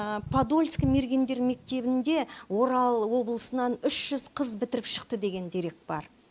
подольск мергендер мектебінде орал облысынан үш жүз қыз бітіріп шықты деген дерек бар